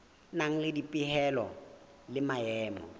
nang le dipehelo le maemo